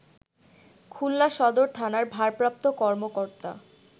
খুলনা সদর থানার ভারপ্রাপ্ত কর্মকর্তা